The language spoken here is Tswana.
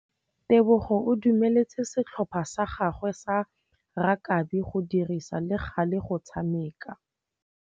Tebogô o dumeletse setlhopha sa gagwe sa rakabi go dirisa le galê go tshameka.